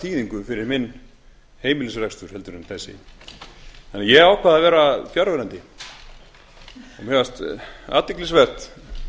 þýðingu fyrir minn heimilisrekstur heldur en þessi þannig að ég ákvað að vera fjarverandi mér fannst athyglisvert að í allri